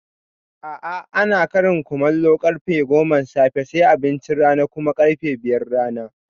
A'a, ana Ƙarin kumallu karfe goman safe sai abincin rana kuma ƙarfe biyun rana